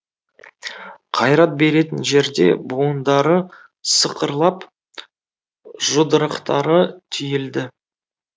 қайрат беретін жерде буындары сықырлап жұдырықтары түйілді